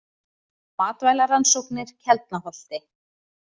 Matvælarannsóknir Keldnaholti.